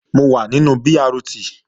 Mo wà nínú BRT